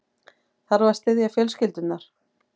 Þarf að styðja fjölskyldurnar